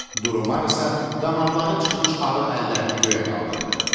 Duremar isə damarları çıxmış arıq əllərini göyə qaldırdı.